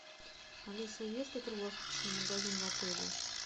алиса есть ли круглосуточный магазин в отеле